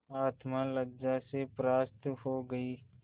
आत्मा लज्जा से परास्त हो गयी